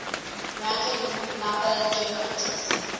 random number generators